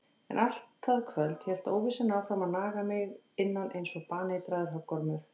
En allt það kvöld hélt óvissan áfram að naga mig innan einsog baneitraður höggormur.